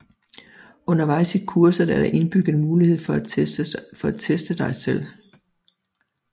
Undervejs i kurset er der indbygget mulighed for at teste dig selv